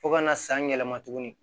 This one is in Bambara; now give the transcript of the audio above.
Fo ka na san yɛlɛma tugun